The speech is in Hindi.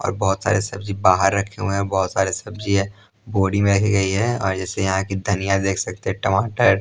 और बहुत सारे सब्जी बाहर रखे हुए हैं और बहुत सारे सब्जी हैं बोरी में रखी गई हैं और जैसे यहाँ की धनिया देख सकते हैं टमाटर--